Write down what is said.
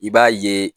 I b'a ye